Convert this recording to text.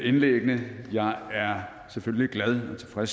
indlæggene jeg er selvfølgelig glad for